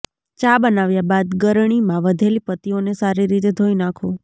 ચા બનાવ્યા બાદ ગળણીમાં વધેલી પત્તીઓને સારી રીતે ધોઈ નાખો